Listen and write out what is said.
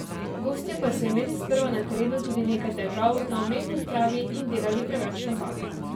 Gostje pa so imeli sprva na terenu tudi nekaj težav na umetni travi in delali preveč napak.